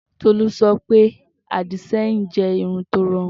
Tolú sọ pé àdìsẹ́yìn jẹ́ irun tí ó rọrùn.